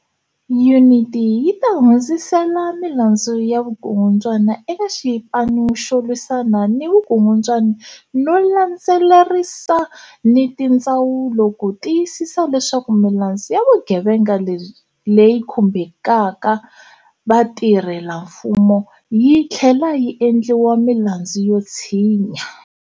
Yuniti yi ta hundzisela milandzu ya vukungundwani eka Xipanu xo Lwisana ni Vukungundwani no landzelerisa ni tindzawulo ku tiyisisa leswaku milandzu ya vugevenga leyi khumbaka vatirhelamfumo yi tlhlela yi endliwa milandzu yo tshinya.